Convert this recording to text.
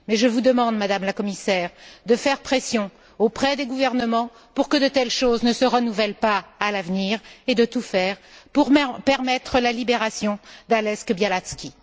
Mais je vous demande, Madame la Commissaire, de faire pression auprès des gouvernements pour que de telles choses ne se reproduisent pas à l'avenir et de tout faire pour permettre la libération d'Ales Bialatski.